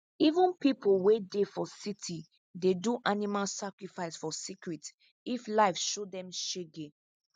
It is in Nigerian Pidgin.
even people wey dey for city dey do animal sacrifice for secret if life show them shege